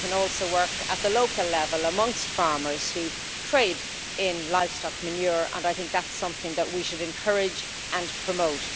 It can also work at the local level amongst farmers who trade in livestock manure, and I think that is something we should encourage and promote.